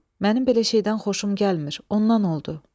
Mənim belə şeydən xoşum gəlmir, ondan oldu.